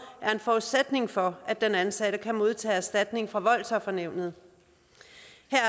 er en forudsætning for at den ansatte kan modtage erstatning fra voldsoffernævnet